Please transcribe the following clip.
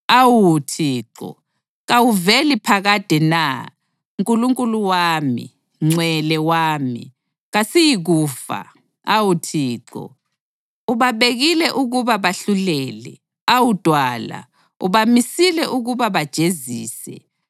Awu Thixo, kawuveli phakade na? Nkulunkulu wami, Ngcwele wami, kasiyikufa. Awu Thixo, ubabekile ukuba bahlulele. Awu Dwala, ubamisile ukuba bajezise.